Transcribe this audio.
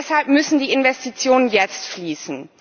Und deshalb müssen die Investitionen jetzt fließen.